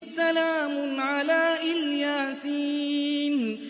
سَلَامٌ عَلَىٰ إِلْ يَاسِينَ